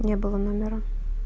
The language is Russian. не было номера